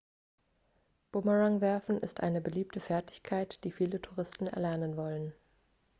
bumerangwerfen ist eine beliebte fertigkeit die viele touristen erlernen wollen